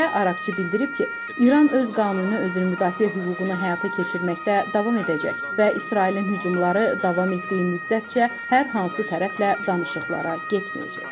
Bununla belə, Araqçı bildirib ki, İran öz qanuni özünü müdafiə hüququnu həyata keçirməkdə davam edəcək və İsrailin hücumları davam etdiyi müddətcə hər hansı tərəflə danışıqlara getməyəcək.